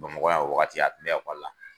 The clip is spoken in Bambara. Bamakɔ yan wagati a tun bɛ ekɔla